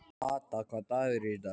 Ada, hvaða dagur er í dag?